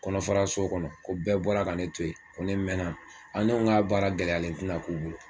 Kɔnɔfaraso kɔnɔ ko bɛɛ bɔra ka ne to yen ko ne mɛnna aa ne ko a baara gɛlɛyalen ti 'a k'u bolo